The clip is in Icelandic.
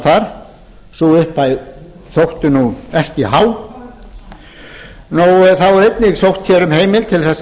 þar sú upphæð þótti nú ekki há þá er einnig sótt hér um heimild til þess að